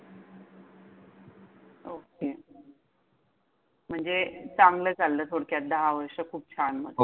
Okay म्हणजे चांगलं चाललं म्हणजे, दहा वर्ष खूप छान! हो!